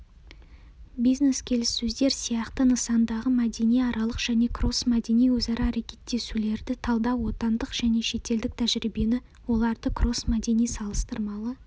бизнес келіссөздер сияқты нысандағы мәдениаралық және кроссмәдени өзара әрекеттесулерді талдау отандық және шетелдік тәжірибені оларды кроссмәдени салыстырмалы